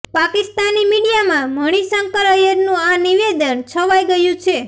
પાકિસ્તાની મીડિયામાં મણિશંકર ઐયરનું આ નિવેદન છવાઇ ગયું છે